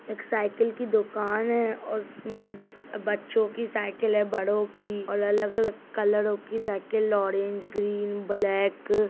एक साइकिल की दुकान है उसमें बच्चों के साइकिल हैं बड़ों की और अलग-अलग कलरो के साइकिल ऑरेंज ग्रीन ब्लैक --